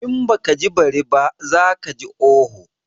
In baka ji bari ba, za kaji oho.